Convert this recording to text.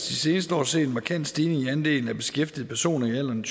de seneste år set en markant stigning i andelen af beskæftigede personer i alderen